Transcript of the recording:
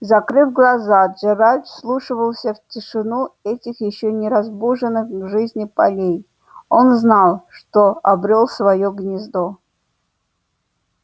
закрыв глаза джералд вслушивался в тишину этих ещё не разбуженных к жизни полей он знал что обрёл своё гнездо